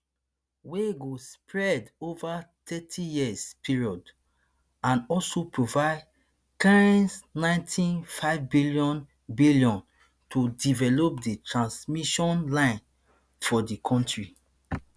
wey go spread ova thirtyyear period and also provide kshninety-five billion billion to develop di transmission lines for di country